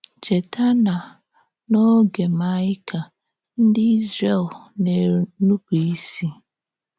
Chètà na n’ógè Maịka, ǹdí Ízrè̀l na-ènùpù ísì.